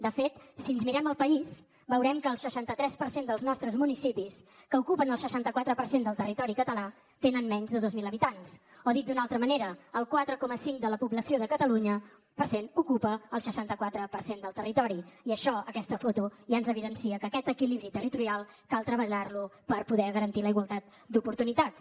de fet si ens mirem el país veurem que el seixanta tres per cent dels nostres municipis que ocupen el seixanta quatre per cent del territori català tenen menys de dos mil habitants o dit d’una altra manera el quatre coma cinc de la població de catalunya per cent ocupa el seixanta quatre per cent del territori i això aquesta foto ja ens evidencia que aquest equilibri territorial cal treballar lo per poder garantir la igualtat d’oportunitats